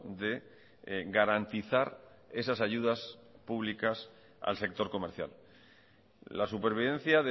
de garantizar esas ayudas públicas al sector comercial la supervivencia